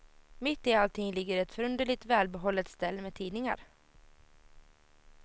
Mitt i allting ligger ett förunderligt välbehållet ställ med tidningar.